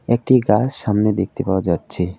একটি গাছ সামনে দেখতে পাওয়া যাচ্ছে।